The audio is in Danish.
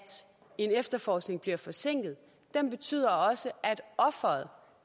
en efterforskning bliver forsinket den betyder også at offeret